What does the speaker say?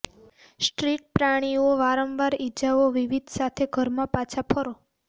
street પ્રાણીઓ વારંવાર ઇજાઓ વિવિધ સાથે ઘરમાં પાછા ફરો